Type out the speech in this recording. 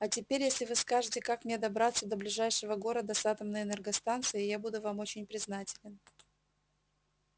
а теперь если вы скажете как мне добраться до ближайшего города с атомной энергостанцией я буду вам очень признателен